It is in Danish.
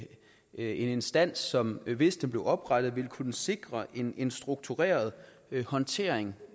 en instans som hvis den bliver oprettet vil kunne sikre en en struktureret håndtering